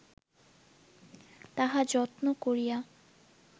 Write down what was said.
তাহা যত্ন করিয়া